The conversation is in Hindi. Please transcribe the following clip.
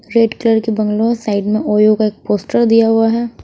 रेड कलर की बंगलो साइड में ओयो का एक पोस्टर दिया हुआ है।